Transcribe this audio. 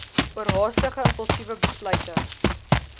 oorhaastige impulsiewe besluite